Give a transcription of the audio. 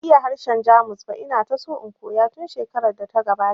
Ban iya harshen Jamus ba, ina ta so in koya tun shekarar da ta gabata